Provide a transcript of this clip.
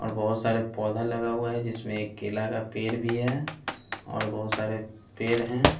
और बहुत सारे पौधा लगा हुआ है जिसमें एक केला का पेड़ भी है और बहुत सारे पेड हैं।